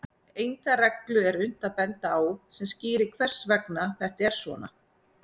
Enga reglu er unnt að benda á sem skýrir hvers vegna þetta er svona.